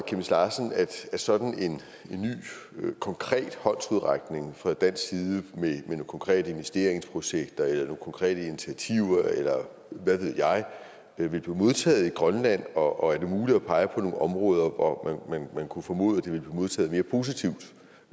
sådan en ny konkret håndsrækning fra dansk side med nogle konkrete investeringsprojekter eller nogle konkrete initiativer eller hvad ved jeg ville blive modtaget i grønland og er det muligt at pege på nogle områder hvor man kunne formode at det ville blive modtaget mere positivt